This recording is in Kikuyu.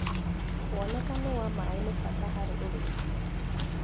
Wonekanu wa maĩ nĩbata harĩ ũrĩmi.